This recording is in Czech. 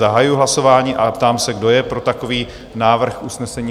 Zahajuji hlasování a ptám se, kdo je pro takový návrh usnesení?